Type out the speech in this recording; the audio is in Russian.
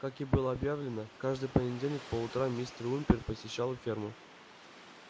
как и было объявлено каждый понедельник по утрам мистер уимпер посещал ферму